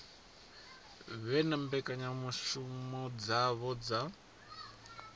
vhe na mbekanyamushumo dzavho dza